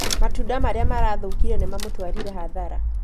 Matunda marĩa marathũkire nĩ mamũtwarire hathara